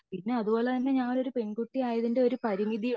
പിന്നെ അതുപോലെ തന്നെ ഞാൻ ഒരു പെൺകുട്ടി ആയതിന്റെ ഒരു പരിമിതി ഉണ്ട്